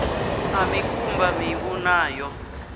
ḓa mikumba miṋu na yo